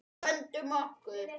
Vöndum okkur.